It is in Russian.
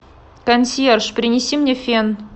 консьерж принеси мне фен